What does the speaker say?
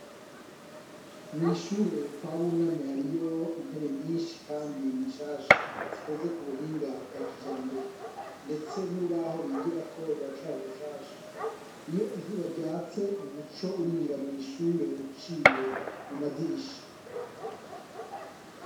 Mwishure kwa Buname hariyo intebe nyinshi kandi nshasha zikoze kubuhinga bga kijambere ndetse nurubaho bigirako ruracari rushasha .Iyo izuba ryatse umuco urinjira mwishure uciye mu madirisha .